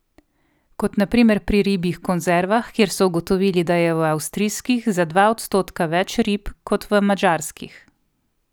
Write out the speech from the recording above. Kot na primer pri ribjih konzervah, kjer so ugotovili, da je v avstrijskih za dva odstotka več rib kot v madžarskih.